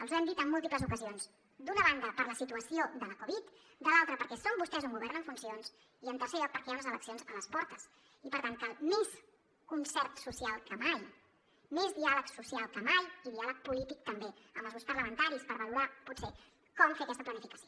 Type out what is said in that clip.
els ho hem dit en múltiples ocasions d’una banda per la situació de la covid de l’altra perquè són vostès un govern en funcions i en tercer lloc perquè hi ha unes eleccions a les portes i per tant cal més concert social que mai més diàleg social que mai i diàleg polític també amb els grups parlamentaris per valorar potser com fer aquesta planificació